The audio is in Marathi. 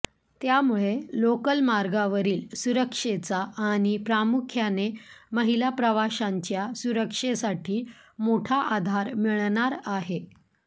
त्यामुळे लोकल मार्गावरील सुरक्षेचा आणि प्रामुख्याने महिला प्रवाशांच्या सुरक्षेसाठी मोठा आधार मिळणार आहे